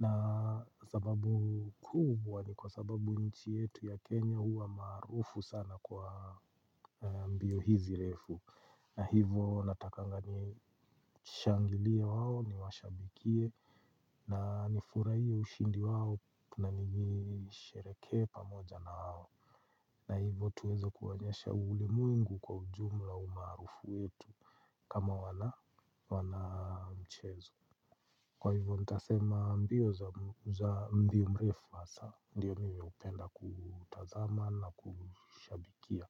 Na sababu kubwa ni kwa sababu nchi yetu ya Kenya huwa maarufu sana kwa mbio hizi refu. Na hivo natakanga nishangilie au niwashabikie na nifurahie ushindi wao na nisherehekee pamoja na hao. Na hivo tuweze kuwaonyesha ulimwengu kwa ujumla umaarufu wetu kama wana mchezo. Kwa hivo nitasema mbio za mbio mrefu hasa ndio mimi hupenda kutazama na kushabikia.